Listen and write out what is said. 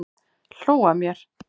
Hló að mér!